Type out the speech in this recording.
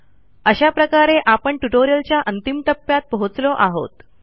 अशा प्रकारे आपण ट्युटोरियलच्या अंतिम टप्प्यात पोहोचलो आहोत